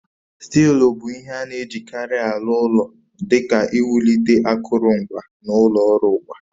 Stili bụ ihe a na-ejikarị aru ulo di ka iwulite akụrụngwa na ụlọ ọrụ ụwa